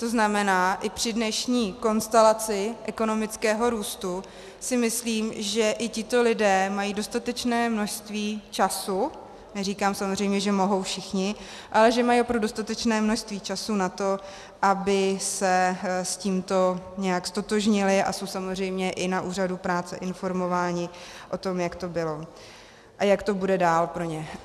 To znamená, i při dnešní konstelaci ekonomického růstu si myslím, že i tito lidé mají dostatečné množství času, neříkám samozřejmě, že mohou všichni, ale že mají opravdu dostatečné množství času na to, aby se s tímto nějak ztotožnili, a jsou samozřejmě i na úřadu práce informováni o tom, jak to bylo a jak to bude dál pro ně.